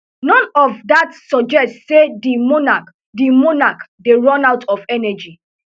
none of dat suggest say di monarch dey monarch dey run out of energy